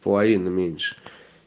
половину меньше